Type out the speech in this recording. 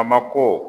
A ma ko